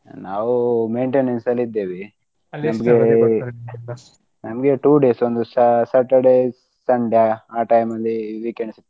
ನಾವು maintenance ಅಲ್ಲಿ ಇದ್ದೇವಿ ನಮ್ಗೆ two days ಸ್ಯ~ Saturday Sunday ಆ time ಲಿ week ends .